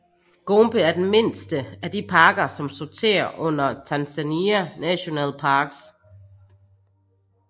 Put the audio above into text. Gombe er den mindste af de parker som sorterer under Tanzania National Parks